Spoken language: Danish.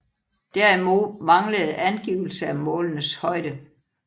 Derimod manglede angivelse af målenes højde